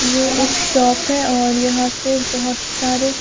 ये एक शॉप है और यहां पे बहोत सारे--